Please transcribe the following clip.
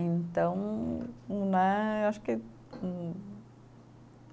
Então né, eu acho que hum